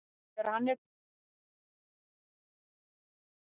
Þegar hann er búinn að leggja bílnum, hvernig finnst hann aftur?